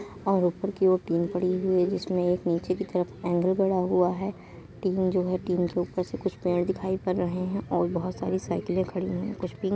और ऊपर की ओर टिन पड़ी हुई है। जिसमें एक नीचे की तरफ एंगल गड़ा हुआ है। टिन जो है। टिन के ऊपर से कुछ पेड़ दिखाई पर रहें हैं और बहोत सारी साइकिले खड़ी हुईं हैं। कुछ पिंक --